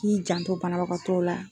i janto banabagatɔw la.